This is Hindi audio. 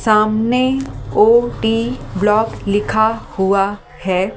सामने ब्लॉक लिखा हुआ है ।